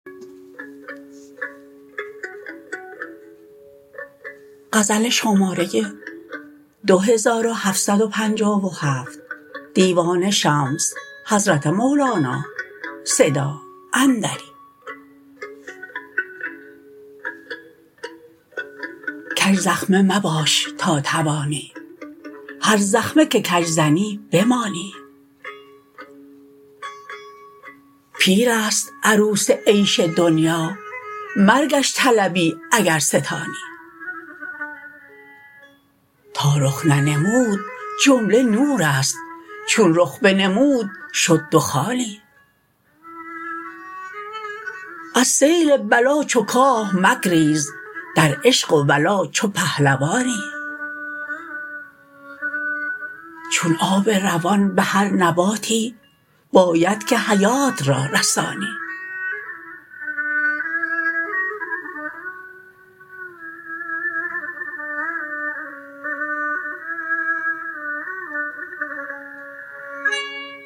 کژزخمه مباش تا توانی هر زخمه که کژ زنی بمانی پیر است عروس عیش دنیا مرگش طلبی اگر ستانی تا رخ ننمود جمله نور است چون رخ بنمود شد دخانی از سیل بلا چو کاه مگریز در عشق و ولا چو پهلوانی چون آب روان به هر نباتی باید که حیات را رسانی